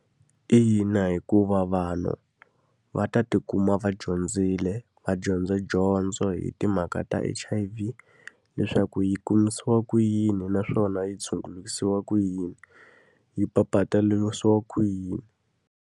Ina, hikuva vanhu va ta tikuma va dyondzile, va dyondza dyondzo hi timhaka ta H_I_V. Leswaku yi kumisiwa ku yini naswona yi tshungurisiwa ku yini, yi papalatisiwa ku yini.